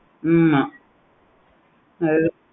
ஆமா